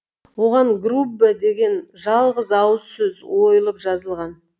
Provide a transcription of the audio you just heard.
оған груббе деген жалғыз ауыз сөз ойылып жазылған